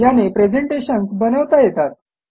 याने प्रेझेंटेशन्स बनवता येतात